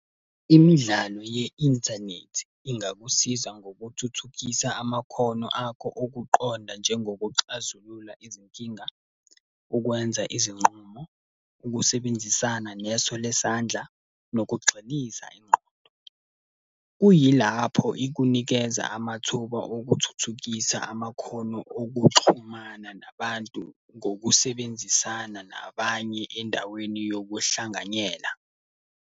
Imidlalo ye-inthanethi ingakusiza ngokuthuthukisa amakhono akho okuqonda njengokuxazulula izinkinga, ukwenza izinqumo, ukusebenzisana neso lesandla, nokugxiniza ingqondo. Kuyilapho ikunikeza amathuba okuthuthukisa amakhono okuxhumana nabantu ngokusebenzisana nabanye endaweni yokuhlanganyela.